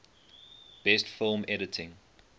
best film editing